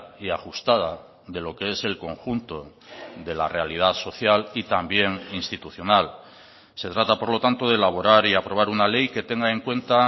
y ajustada de lo que es el conjunto de la realidad social y también institucional se trata por lo tanto de elaborar y aprobar una ley que tenga en cuenta